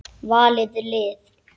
Valið lið.